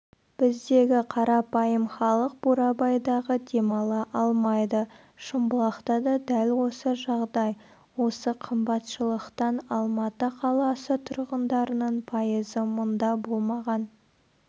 біздегі қарапайым халық бурабайдағы демала алмайды шымбұлақта да дәл осы жағдай осы қымбатшылықтан алматы қаласы тұрғындарының пайызы мұнда болмаған